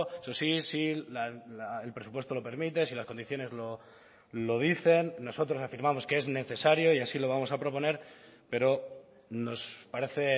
eso sí si el presupuesto lo permite si las condiciones lo dicen nosotros afirmamos que es necesario y así lo vamos a proponer pero nos parece